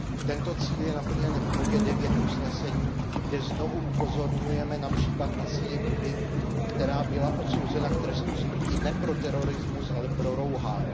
Tento cíl je naplněn v bodě 9 usnesení, kde znovu upozorňujeme na případ Asii Bibiové, která byla odsouzena k trestu smrti ne pro terorismus, ale pro rouhání.